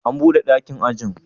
An bude dakin ajin?